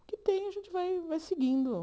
O que tem, a gente vai vai seguindo.